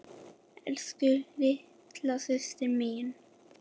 Elsku, litla systir mín.